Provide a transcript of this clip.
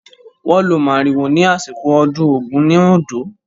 Wọ́n lo màrìwò ní àsìkò ọdún Ògún ní Oǹdó.